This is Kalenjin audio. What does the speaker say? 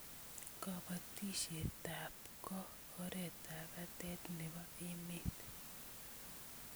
Kobotisietab ko oretap batet nebo emet